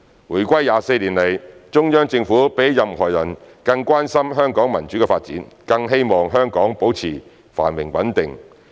回歸24年來，中央政府比起任何人更關心香港民主的發展，更希望香港保持繁榮穩定。